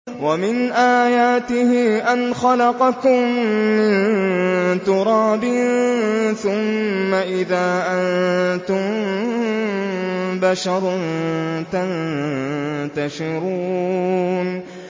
وَمِنْ آيَاتِهِ أَنْ خَلَقَكُم مِّن تُرَابٍ ثُمَّ إِذَا أَنتُم بَشَرٌ تَنتَشِرُونَ